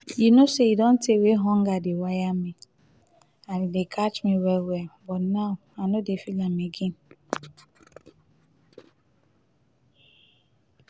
you no say e don tey wey hunger dey wire me and dey catch me well well but now i no dey feel am again.